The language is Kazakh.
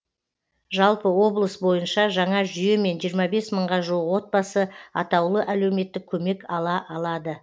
жалпы облыс бойынша жаңа жүйемен жиырма бес мыңға жуық отбасы атаулы әлеуметтік көмек ала алады